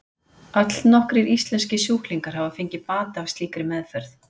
allnokkrir íslenskir sjúklingar hafa fengið bata af slíkri meðferð